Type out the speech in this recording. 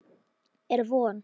Er von?